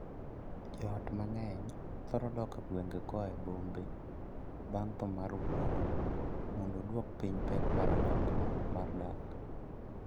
Joot mang'eny thoro dok e gwenge koa e bombe bang' thoo mar wuoro mondo oduok piny pek onyongla mar ngima.